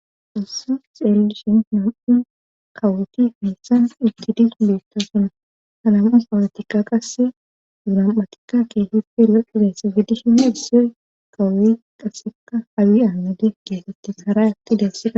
Ussus xeellishin nam'un kawoti meyssan uttidis beetto suna hanamu pawulotikka qasse duunam'atikka kee hipfi loqidesse giddishina issyoy kawoy qasseka habi aanade geetettes haray atti dessida.